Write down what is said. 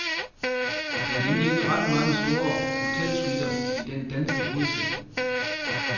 Der er nemlig ikke ret mange store hotelsuiter i den danske hovedstad.